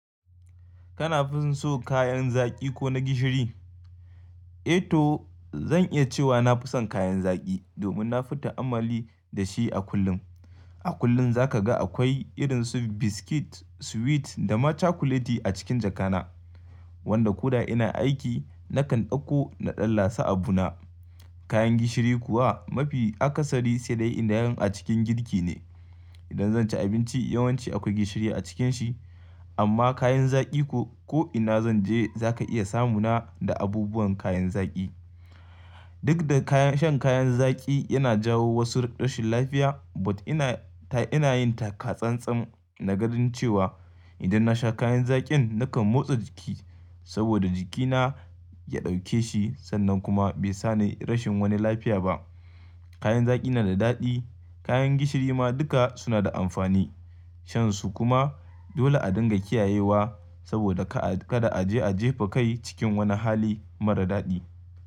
Kana fin so kayan zaki ko na gishiri? Eto zan iya cewa na fi son kayan zaki domin na fita a'mali da shi a kullum. A kullum za ka ga akwai irin su biskit, sweet da ma chocolate a cikin jakana wanda ko da ina aiki nakan ɗauko na ɗanlasa abu na. Kayan gishiri kuwa mafi akasari sai dai inda yan a cikin girki ne. Idan zan ci abinci yawanci akwai gishiri a cikin shi amma kayan zaki ko ina zan je za ka iya samu na da abubuwan kayan zaki. Duk da shan kayan zaki yana jawo wasu rashin lafiya but ina ta ina yin taka tsan-tsan na ganin cewa idan na sha kayan zakin nakan motsa jiki saboda jikina ya ɗauke shi sannan kuma bai sa ni rashin wani lafiya ba. Kayan zaki na da daɗi kayan gishiri ma duka suna da amfani shansu kuma dole a dinga kiyayewa saboda ka a kaɗa a je a jefa kai cikin wani hali marar daɗi.